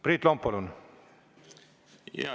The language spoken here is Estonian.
Priit Lomp, palun!